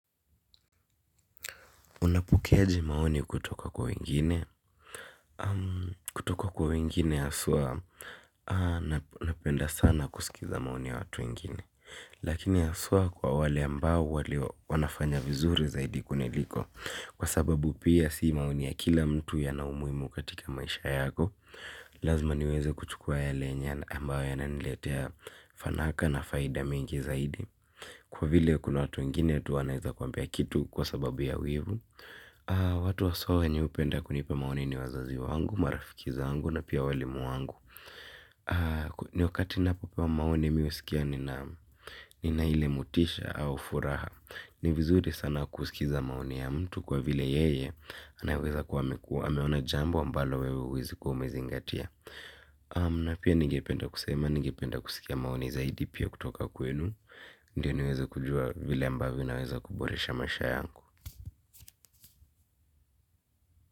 Unapokeaje maoni kutoka kwa wengine? Kutoka kwa wengine haswa, napenda sana kusikiliza maoni ya watu wengine. Lakini haswa kwa wale ambao wale wanafanya vizuri zaidi kuniliko. Kwa sababu pia si maoni ya kila mtu yana umuhimu katika maisha yako, lazima niweze kuchukua yale yenye ambao yananiletea fanaka na faida mingi zaidi. Kwa vile kuna watu wengine tu wanaweza kuambia kitu kwa sababu ya wivu. Watu haswa wenye hupenda kunipa maoni ni wazazi wangu, marafiki zangu na pia walimu wangu. Ni wakati napopewa maoni mi husikia nina ile motisha au furaha. Ni vizuri sana kusikiliza maoni ya mtu kwa vile yeye anaweza kuwa amekua ameona jambo ambalo wewe huwezi kuwa umezingatia. Na pia ning penda kusema, nigependa kusikia maoni zaidi pia kutoka kwenu. Ndiyo niweze kujua vile ambavyo naweza kuboresha maisha yangu.